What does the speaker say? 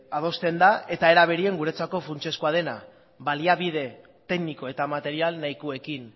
adosten da eta ere berean guretzako funtsezkoa dena baliabide tekniko eta material nahikoekin